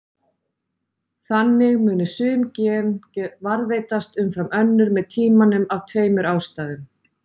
Þannig muni sum gen varðveitast umfram önnur með tímanum af tveimur ástæðum.